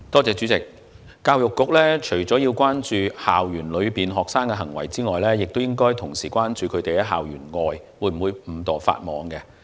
主席，教育局除了要關注學生在校內的行為外，還應關注他們會否在校園外誤墮法網。